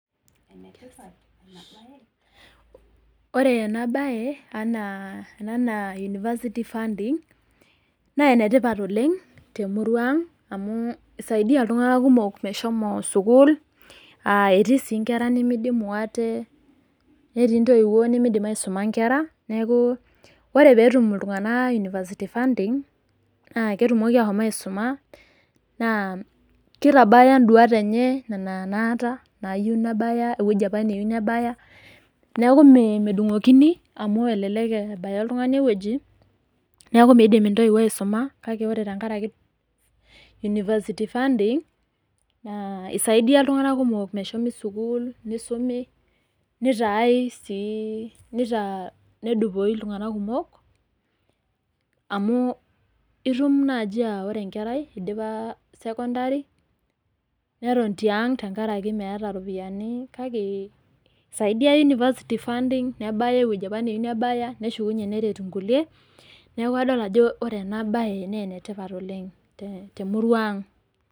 Ore ena baye anaa university funding, naa enetipat oleng' te emurua aang' amu keiaaidia iltung'anak kumok meshomo sukuul, aa etii sii inkera nemeidimu aate, netii intoiwuo nemeidim aisuma inkera, nekaku ore pee etum iltung'anak university funding, naa ketumoki aashom aisuma, naa keitabaya induat enye, nena naata, naayu nebaya ewueji opa nayiou nebaya, neaku medung'okini amu elelek ebaya oltung'ani ewueji , neaku meidim intoiwo aisuma, kake ore tenkaraki university funding, eisaidia iltung'anak kumok meshomi sukuul , neisumi, nedupoyu iltung'anak kumok, amu itum naaji aa enkerai naidipa sekondari, neton tiang' tenkaraki meata iropiani, kake eisaidia university funding, metabai ewueji opa nayiou nebaya, neshukunye aret inkulie. Neaku adol ena baye ajo ene tipat oleng' te emurua aang'.